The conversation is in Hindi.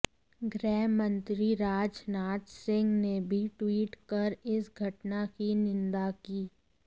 गृहमंत्री राजनाथ सिंह ने भी ट्वीट कर इस घटना की निंदा की